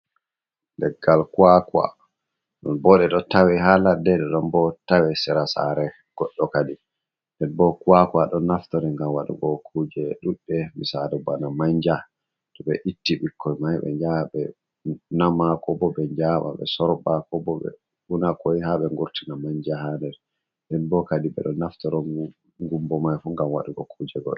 Leggal kuwakuwa on, bo ɗum ɗo tawe haa ladde ,ɗe ɗon bo tawe sera saare goddo kadi. Nden bo kuwakuwa ɗon naftoro ngam waɗugo kuje ɗuɗɗe misaalu bana mannja to ɓe itti ɓikkoy may ,ɓe njaha ɓe nama, ko bo ɓe njaɓa ɓe sorɓa ,ko bo ɓe una koy haa ɓe ngurtina mannja haa nder. Nden bo kadi ɓe ɗo naftaro ngumbo may fu ngam waɗugo kuje godo.